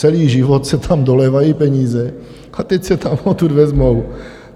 Celý život se tam dolévají peníze a teď se tam odtud vezmou.